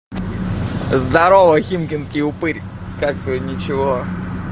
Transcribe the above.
здорово химкинский упырь как твоё ничего